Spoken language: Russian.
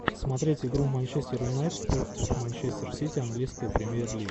смотреть игру манчестер юнайтед против манчестер сити английская премьер лига